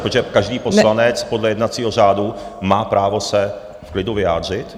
Protože každý poslanec podle jednacího řádu má právo se v klidu vyjádřit.